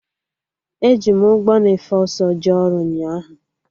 Eji m ụgbọ na-efe ọsọ jee ọrụ ụnyaahụ